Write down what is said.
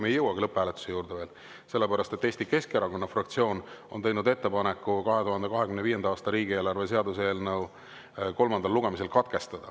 Me ei jõuagi veel lõpphääletuse juurde, sest Eesti Keskerakonna fraktsioon on teinud ettepaneku 2025. aasta riigieelarve seaduse eelnõu kolmas lugemine katkestada.